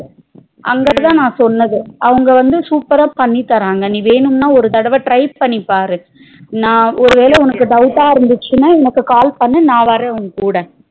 அங்கதா நா சொன்னது அவங்க வந்து super ரா பண்ணித்தாராங்க நீ வேணும்னா ஒரு தட try பண்ணிப்பாரு நா ஒரு வேல உனக்கு doubt டா இருந்துச்சுனா எனக்கு call பண்ணு நா வரேன் உன் கூட